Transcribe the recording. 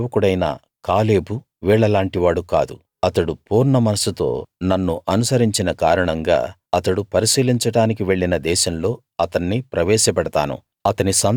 నా సేవకుడైన కాలేబు వీళ్ళ లాంటి వాడు కాదు అతడు పూర్ణమనస్సుతో నన్ను అనుసరించిన కారణంగా అతడు పరిశీలించడానికి వెళ్ళిన దేశంలో అతన్ని ప్రవేశపెడతాను